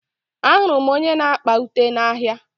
Ahụrụ m onye na-akpa ụte n'ahia.